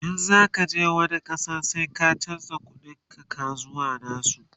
in zaka je wani ƙasa sai ka chanza ƙuɗin ka zuwa nasu